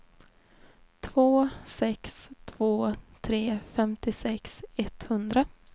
två sex två tre femtiosex etthundra